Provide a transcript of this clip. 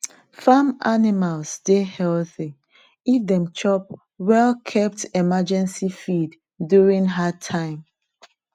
farm animals dey healthy if dem chop well kept emergency feed during hard time